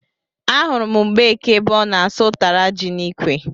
Ahụrụ m Mgbeke ebe ọ na-asụ ụtara ji n'ikwe